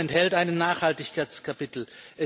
Das Abkommen enthält ein Nachhaltigkeitskapitel.